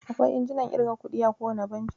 Akwai injinan ƙirga kuɗi a kowane banki.